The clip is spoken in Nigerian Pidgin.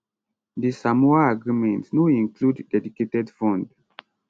di samoa agreement no include dedicated fund